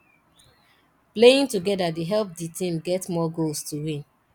playing together dey help di team get more goals to win